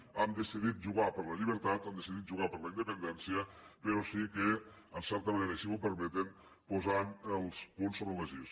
hem decidit jugar per la llibertat hem decidit jugar per la independència però sí que en certa manera i si m’ho permeten posant els punts sobre les is